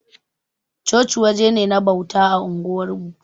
Chochi waje ne na bauta a unguwarmu.